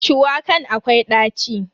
Shuwakan akwai ɗaci.